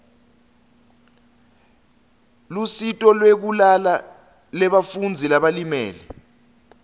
lusito lwekulala lebafundzi labalimele